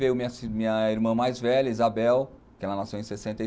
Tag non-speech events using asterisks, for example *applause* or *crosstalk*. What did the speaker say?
Veio minha minha irmã mais velha, Isabel, que ela nasceu em sessenta *unintelligible*